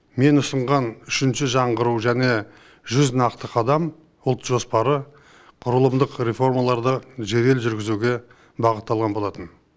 мен ұсынған үшінші жаңғыру және жүз нақты қадам ұлт жоспары құрылымдық реформаларды жедел жүргізуге бағытталған болатын